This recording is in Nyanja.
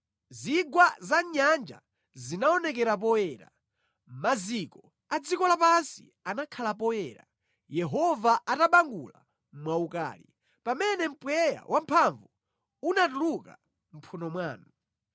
Zigwa za mʼnyanja zinaonekera poyera; maziko a dziko lapansi anakhala poyera, Yehova atabangula mwaukali, pamene mpweya wamphamvu unatuluka mʼmphuno mwanu.